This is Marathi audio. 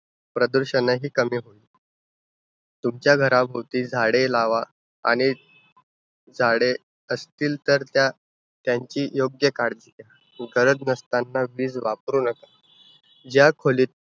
प्रदूषणहि कमी होईल. तुमच्या घराभोवती झाडे लावा. आणि झाडे असतील तर त्या~ त्यांची योग्य काळजी घ्या. गरज नसतांना वीज वापरू नका. ज्या खोलीत